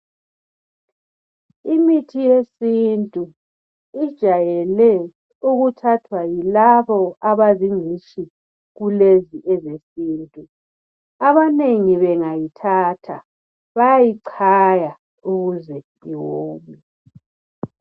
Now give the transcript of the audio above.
Imithi yesintu ijayele ukuthathwa yilabo abazingcitshi kulezi ezesintu. Abanengi bengayithatha bayayichaya ukuze iwome.